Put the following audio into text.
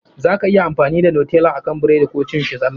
Za ka iya amfani da Nutella akan burodi Koh cin shi zalla.